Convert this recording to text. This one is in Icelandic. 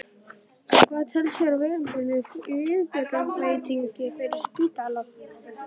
En hvað telst vera viðunandi viðbótarfjárveiting fyrir spítalann?